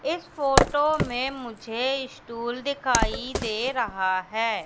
इस फोटो में मुझे स्टूल दिखाई दे रहा है।